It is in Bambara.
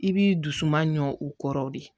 I b'i dusu suma ɲu kɔrɔ de